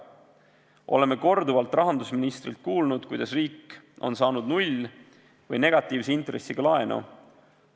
Oleme korduvalt rahandusministrilt kuulnud, kuidas riik on saanud null- või negatiivse intressiga laenu.